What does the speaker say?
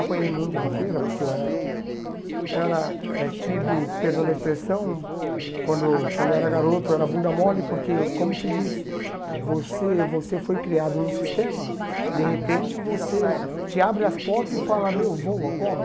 Apanhei muito na feira, porque eu era era eh tido, perdão da expressão, quando quando eu era garoto eu era bunda mole, porque, como se diz, você você foi criado num sistema, de repente você te abre as portas e fala, meu, voa, como?